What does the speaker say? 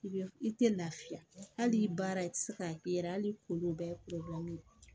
I bɛ i tɛ lafiya hali i baara i tɛ se k'a kɛ yɛrɛ hali kolon bɛɛ ye